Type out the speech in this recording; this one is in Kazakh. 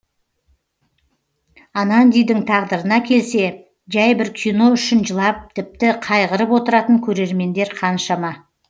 анандидің тағдырына келсе жәй бір кино үшін жылап тіпті қайғырып отыратын көрермендер қаншама